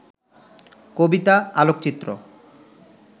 কবিতা, আলোকচিত্র